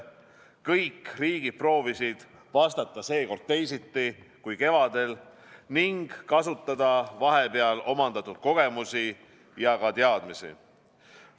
Kõik riigid proovisid vastata seekord teisiti kui kevadel ning kasutada vahepeal omandatud kogemusi ja teadmisi.